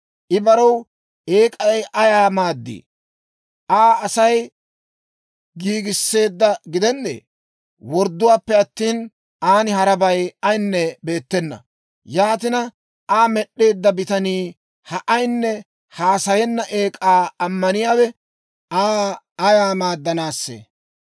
«I barew eek'ay ayaa maaddii? Aa Asay giigisseedda gidennee? Wordduwaappe attina, aan harabay ayaynne beettena. Yaatina, Aa med'd'eedda bitanii ha ayinne haasayenna eek'aa ammaniyaawe Aa ayaa maaddanaassee?